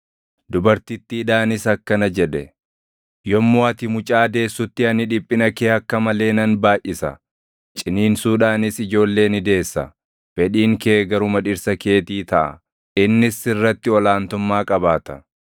Dubartittiidhaanis akkana jedhe; “Yommuu ati mucaa deessutti ani dhiphina kee akka malee nan baayʼisa; ciniinsuudhaanis ijoollee ni deessa. Fedhiin kee garuma dhirsa keetii taʼa; innis sirratti ol aantummaa qabaata.”